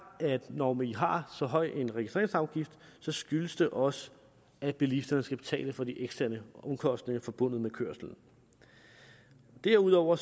at når vi har så høj en registreringsafgift så skyldes det også at bilisterne skal betale for de eksterne omkostninger forbundet med kørslen derudover